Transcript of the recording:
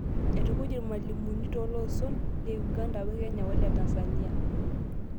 Aitukuj Irmalimunu tooloson Le Uganda, Kenya wole Tanzania.